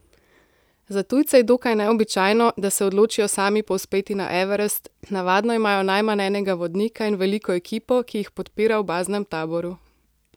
Za tujce je dokaj neobičajno, da se odločijo sami povzpeti na Everest, navadno imajo najmanj enega vodnika in veliko ekipo, ki jih podpira v baznem taboru.